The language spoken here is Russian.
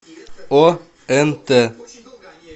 онт